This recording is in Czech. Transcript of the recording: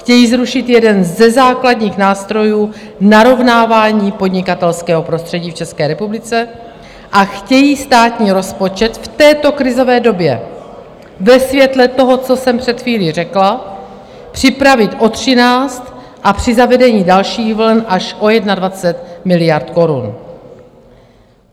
Chtějí zrušit jeden ze základních nástrojů narovnávání podnikatelského prostředí v České republice a chtějí státní rozpočet v této krizové době ve světle toho, co jsem před chvílí řekla, připravit o 13 a při zavedení dalších vln až o 21 miliard korun.